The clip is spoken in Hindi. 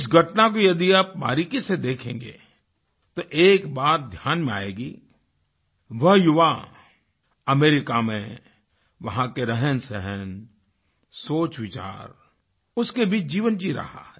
इस घटना को यदि आप बारीकी से देखेंगे तो एक बात ध्यान में आएगी वह युवा अमेरिका में वहाँ के रहनसहन सोचविचार उसके बीच जीवन जी रहा है